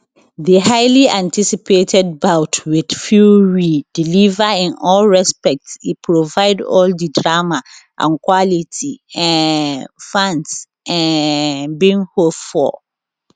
di highly anticipated bout wit fury deliver in all respects e provide all di drama and quality um fans um bin hope for